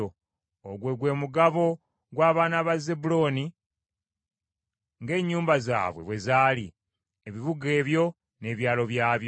Ogwo gwe mugabo gw’abaana ba Zebbulooni ng’ennyumba zaabwe bwe zaali, ebibuga ebyo n’ebyalo byabyo.